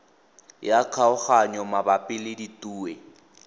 ya kgaoganyo mabapi le ditue